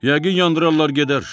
Yəqin yandırarlar gedər.